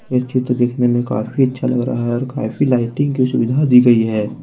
यह चित्र देखने में काफी अच्छा लग रहा है। और काफी लाइटे की सुविधा दी गई है।